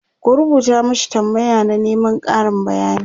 ku rubuta mashi tambaya na Neman Karin bayani!